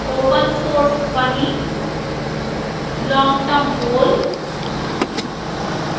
open source funny